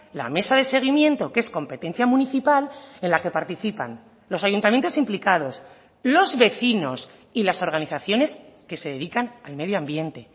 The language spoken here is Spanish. la mesa de seguimiento que es competencia municipal en la que participan los ayuntamientos implicados los vecinos y las organizaciones que se dedican al medio ambiente